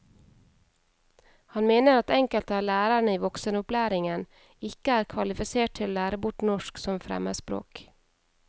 Han mener at enkelte av lærerne i voksenopplæringen ikke er kvalifisert til å lære bort norsk som fremmedspråk.